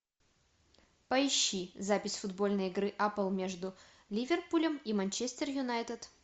поищи запись футбольной игры апл между ливерпулем и манчестер юнайтед